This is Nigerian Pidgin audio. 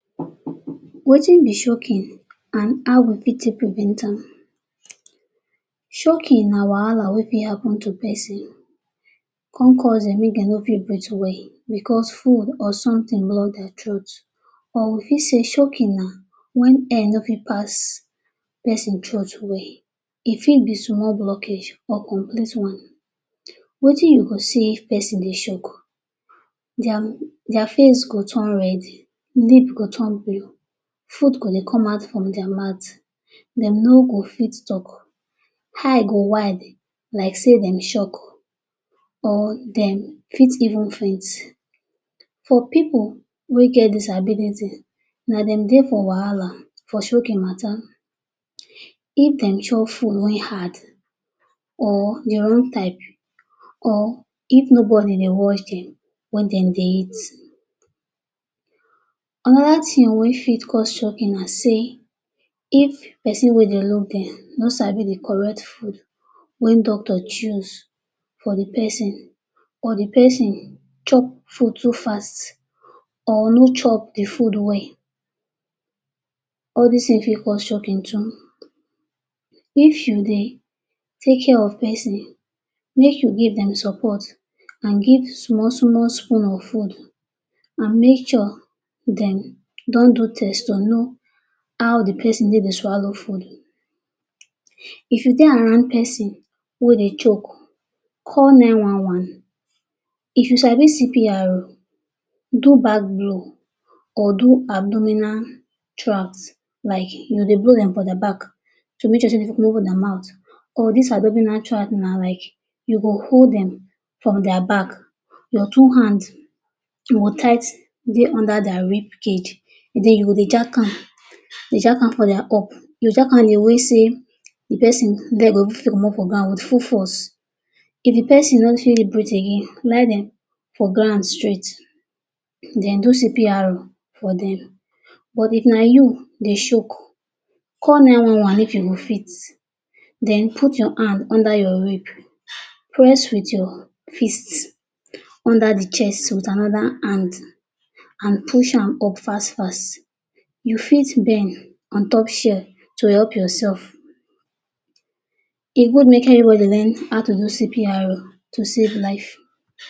Wetin be choking and how we fit take prevent am?. Choking na wahala wey fit happen to pesin come cause dem make dem no fit breath well because food or something block dia throat or we fit say chocking na when air no fit pass pesin throat well, e fit be small blockage or complete one. Wetin you go sey person dey choke; dia face go turn red, lip go turn blue, food go dey come out from dia mouth, dem no go fit talk, eye go wide like sey dem choke or dem fit even faint. For pipul wey get disability na dem dey for wahala for choking matter, if dem chop food wey hard or dey or if nobody dey watch when dem dey eat. Another thing wey fit cause choking na sey if pesin wey dey look dem no sabi dey correct food wey doctor choose for dey pesin or dey pesin chop food too fast or no chop dey food well, all dis thing fit cause choking too. If you dey take care of pesin make you give dem support and give small small spoon of food and make sure dem don do test or know how dey pesin dey dey swallow food. If you dey around pesin wey dey choke call nine one one if you sabi CPRO do back blow or do abdominal tracks like you dey blow dem for dia back to make sey dey no close dia mouth or dis abdominal track na like you go hold dem from dia back your two hands will tightly under dia knee cape then you dey jack am dey jack am from dia up, dey jack am dey mean sey dey person head go fit comot fro meas with full force, if dey person no fit dey breath again lie dem for ground straight then do CPRO for dem but if na you dey choke call nine one one if you go fit a then put your arm under your hip press with your fist under dey chest with another hand and push am up fast fast you fit bend ontop shield to help yourself. E good make everybody learn how to do CPRO to save life.